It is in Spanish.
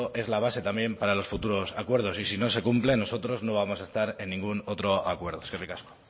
es la base también para los futuros acuerdos y si no se cumple nosotros no vamos a estar en ningún otro acuerdo eskerrik asko